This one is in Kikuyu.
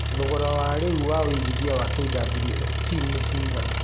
thogora wa rĩu wa wĩigĩthĩa wa kwft nĩ cigana